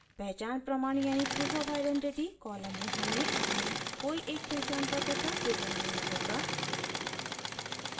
पहचान प्रमाण proof of identity column में हमें अपने कोई एक पहचान पत्र का विवरण देना होगा